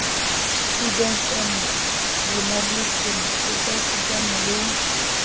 studies and journalism ekasitana le